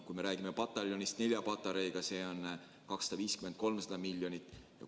Kui räägime nelja patareiga pataljonist, siis on tegemist 250–300 miljoni eurose väljaminekuga.